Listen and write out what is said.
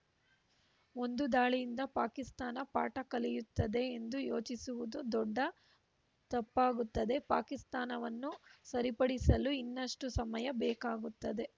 ಒಂದು ದಾಳಿಯಿಂದ ಪಾಕಿಸ್ತಾನ ಪಾಠ ಕಲಿಯುತ್ತದೆ ಎಂದು ಯೋಚಿಸುವುದು ದೊಡ್ಡ ತಪ್ಪಾಗುತ್ತದೆ ಪಾಕಿಸ್ತಾವನ್ನು ಸರಿಪಡಿಸಲು ಇನ್ನಷ್ಟುಸಮಯ ಬೇಕಾಗುತ್ತದೆ